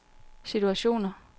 situationer